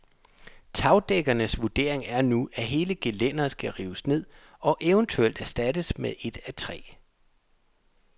Tagdækkerens vurdering er nu, at hele gelænderet skal rives ned og eventuelt erstattes med et af træ.